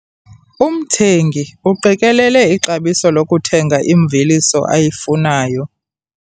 Umthengi uqikelele ixabiso lokuthega imveliso ayifunayo.